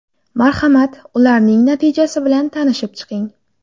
Marhamat, ularning natijasi bilan tanishib chiqing.